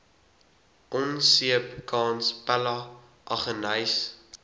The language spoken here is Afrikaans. onseepkans pella aggeneys